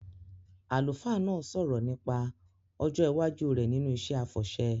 Àlùfáà náà sọ̀rọ̀ nípa ọjọ́ iwájú rẹ̀ nínú iṣẹ́ àfọ̀ṣẹ